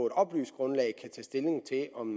et oplyst grundlag kan tage stilling til om